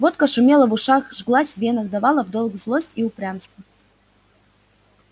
водка шумела в ушах жглась в венах давала в долг злость и упрямство